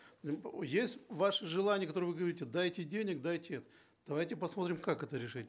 есть ваше желание которое вы говорите дайте денег дайте это давайте посмотрим как это решить